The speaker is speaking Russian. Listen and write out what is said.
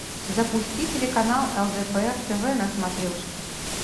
запусти телеканал лдпр тв на смотрешке